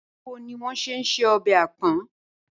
Báwo ni wó̩n s̩e ń se o̩bè̩ àpò̩n?